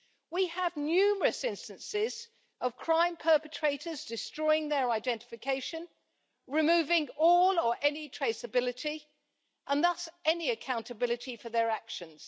We have numerous instances of crime perpetrators destroying their identification, removing all or any traceability, and thus any accountability for their actions.